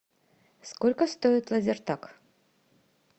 сколько стоит лазертаг